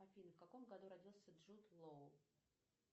афина в каком году родился джуд лоу